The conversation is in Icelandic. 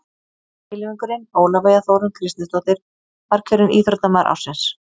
Kylfingurinn Ólafía Þórunn Kristinsdóttir var kjörin Íþróttamaður ársins.